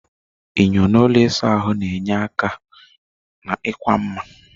Enyo n'ụlọ ịsa ahụ na-enyere aka n'ịkwa mma.